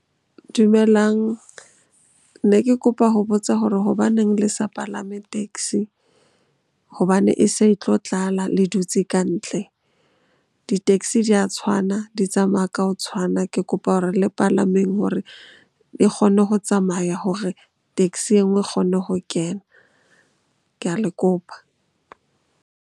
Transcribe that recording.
Dumelang, ne ke kopa ho botsa hore hobaneng le sa palame taxi hobane e se e tlo tlala le dutse kantle. Di-taxi di a tshwana, di tsamaya ka ho tshwana. Ke kopa hore le palameng hore e kgone ho tsamaya hore taxi e nngwe e kgone ho kena. Ke a le kopa.